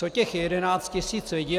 Co těch 11 tisíc lidí?